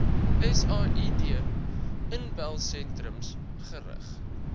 said inbelsentrums gerig